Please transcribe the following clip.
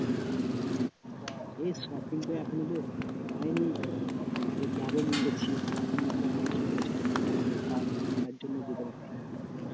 এই shopping টা এখনও তো হয়নি, এই যাব মনে করছি এখন অসুবিধা চলছে টাকা পয়সার তার জন্যে যেতে পারছি না